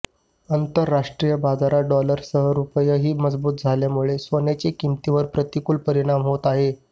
आंतरराष्ट्रीय बाजारात डॉलरसह रुपयाही मजबूत झाल्यामुळे सोन्याच्या किंमतीवर प्रतिकूल परिणाम होत आहे